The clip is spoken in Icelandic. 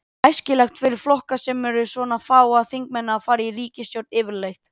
Er æskilegt fyrir flokka sem eru með svona fáa þingmenn að fara í ríkisstjórn yfirleitt?